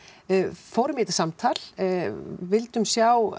fórum í þetta samtal við vildum sjá